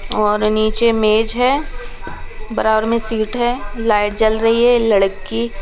और नीचे मेज है बराबर में सीट है लाइट जल रही है लड़की--